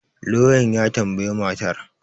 lauyan ya tambayi matar